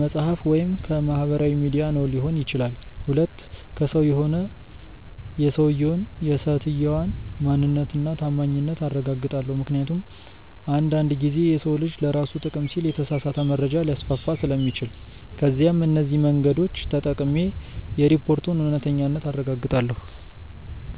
መፅሐፍ ወይም ከማህበራዊ ሚዲያ ነው ሊሆን ይችላል። 2. ከሰው ከሆነ የሰውየውን/ የሰትየዋን ማንነት እና ታማኝነት አረጋግጣለው ምክንያቱም አንድ አንድ ጊዜ የሰው ልጅ ለራሱ ጥቅም ሲል የተሳሳተ መረጃ ሊያስፋፋ ስለሚችል። ከዛም እነዚህ መንገዶች ተጠቅሜ የሪፖርቱን እውነተኛነት አረጋግጣለው።